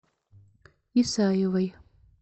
исаевой